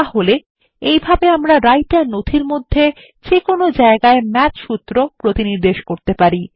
তাহলে এইভাবে আমরা রাইটার নথির মধ্যে যে কোন জায়গায় ম্যাথ সূত্র প্রতিনির্দেশ করতে পারি